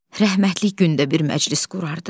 Rəhmətlik gündə bir məclis qurardı.